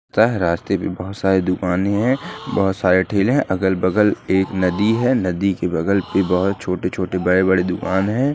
रास्ते पर बहुत सारी दुकानें है बहुत सारे ठेले है अगल-बगल नदी है नदी के आसपास बहुत धूप है।